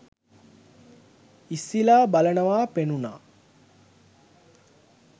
ඉස්සිලා බලනවා පෙනුනා